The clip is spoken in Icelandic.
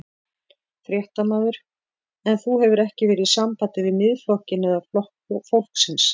Fréttamaður: En þú hefur ekki verið í sambandi við Miðflokkinn eða Flokk fólksins?